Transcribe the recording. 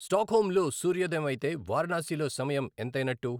Stockholm ల్ సూర్యోదయం అయితే వారణాసిలో సమయం ఎంతైనట్టు